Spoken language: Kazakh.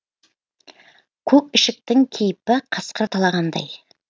көк ішіктің кейпі қасқыр талағандай